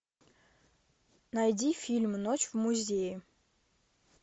найди фильм ночь в музее